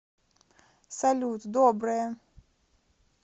салют доброе